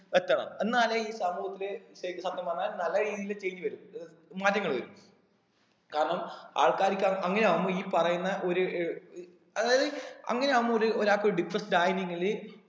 പറ്റണം എന്നാലെ ഈ സമൂഹത്തില് ശരിക്കും സത്യം പറഞ്ഞാൽ നല്ല രീതിയിൽ change വരും ഏർ മാറ്റങ്ങൾ വരും കാരണം ആൾക്കാർക്ക് അഹ് അങ്ങനെ ആകുമ്പോ ഈ പറയുന്ന ഒരു ഏർ അതായത് അങ്ങനെ ആകുമ്പോ ഒര് ഒരാൾക്ക് depressed ആയിന്നെങ്കില്